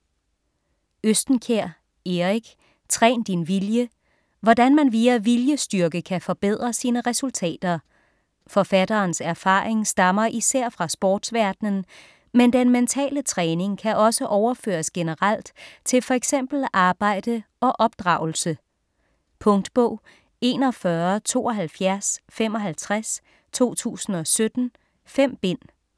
Østenkjær, Erik: Træn din vilje Hvordan man via viljestyrke kan forbedre sine resultater. Forfatterens erfaring stammer især fra sportsverdenen, men den mentale træning kan også overføres generelt til fx arbejde og opdragelse. Punktbog 417255 2017. 5 bind.